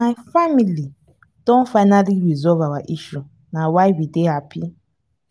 my family don finally resolve our issue na why we dey happy